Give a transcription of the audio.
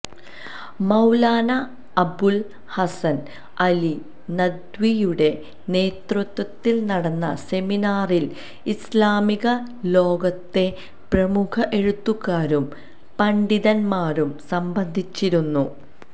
മൌലാനാ അബുല് ഹസന് അലി നദ്വിയുടെ നേതൃത്വത്തില് നടന്ന സെമിനാറില് ഇസ്ലാമിക ലോകത്തെ പ്രമുഖ എഴുത്തുകാരും പണ്ഡിതന്മാരും സംബന്ധിച്ചിരുന്നു